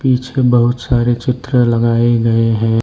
पीछे बहुत सारे चित्र लगाए गए हैं।